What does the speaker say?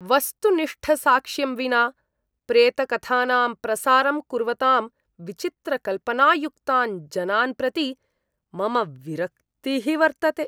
वस्तुनिष्ठसाक्ष्यं विना प्रेतकथानां प्रसारं कुर्वतां विचित्रकल्पनायुक्तान् जनान् प्रति मम विरक्तिः वर्तते।